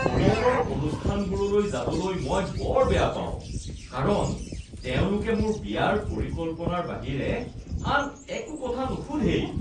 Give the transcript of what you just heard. পৰিয়ালৰ অনুষ্ঠানবোৰলৈ যাবলৈ মই বৰ বেয়া পাওঁ কাৰণ তেওঁলোকে মোৰ বিয়াৰ পৰিকল্পনাৰ বাহিৰে আন একো কথা নুসুধেই।